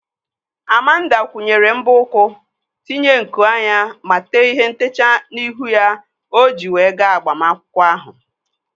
Amanda kwụnyere mbọ ụkwụ, tinye nku anya ma tee ihe ntechaa n'ihu ya o ji wee gaa agbamakwụkwọ ahụ